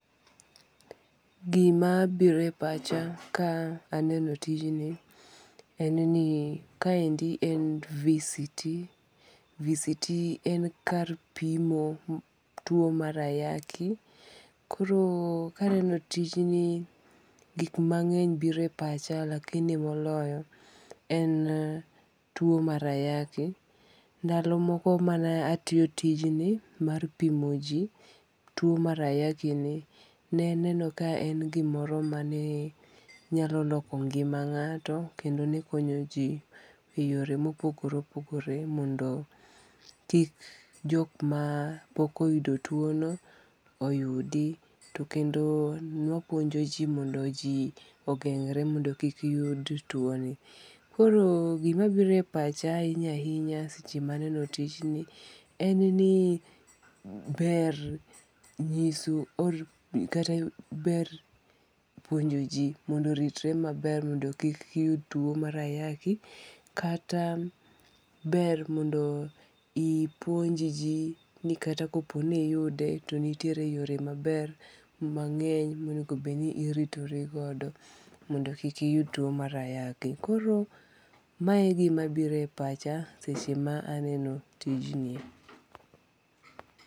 Gima biro e pacha ka aneno tijni en ni kaendi en VCT. VCT en kar pimo tuo mar ayaki. Koro kaneno tijni gik mang'eny biro e pacha lakini moloyo en tuo mar ayaki. Ndalo moko mane atiyo tijni mar pimo ji, tuo mar ayaki ni. Ne aneno ka en gimoro mane nyalo loko ngima ng'ato kendo ne konyo ji e yore mopogore opogore mondo kik joma pok oyudi. To kendo ne wapuonjo ji mondo ji ogengre mondo kik yud tuo ni. Koro gima biro e pacha ahinya ahinya seche ma aneno tijni en ni ber nyiso kata ber puonjo ji mondo oritre maber mondo kik yud tuo mar ayaki. Kata ber mondo ipuonj ji ni kata kopo ni iyude to nitiere yore maber mang'eny monengo bed ni iritorigodo mondo kik iyud tuo mar ayaki. Koro mae e gima biro e pacha seche maneno tijni.